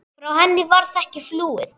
Frá henni varð ekki flúið.